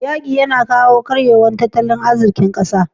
yaƙi yAna kawo karyewar tattalin azikin ƙasa